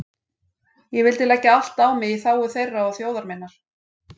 Ég vildi leggja allt á mig í þágu þeirra og þjóðar minnar.